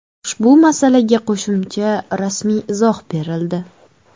Ushbu masalaga qo‘shimcha rasmiy izoh berildi .